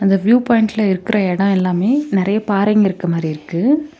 இந்த வியூ பாயிண்ட்ல இருக்க எடோ எல்லாமே நெறைய பாறைங்க இருக்க மாரி இருக்கு.